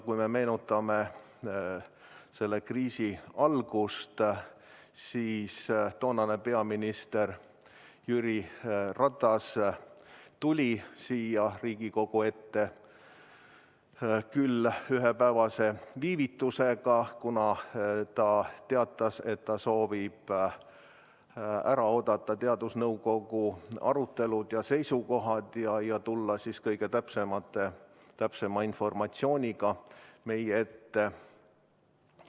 Kui me meenutame selle kriisi algust, siis peaminister Jüri Ratas tuli siia Riigikogu ette, küll ühepäevase viivitusega, kuna ta teatas, et soovib ära oodata teadusnõukoja arutelud ja seisukohad ning tulla siis kõige täpsema informatsiooniga meie ette.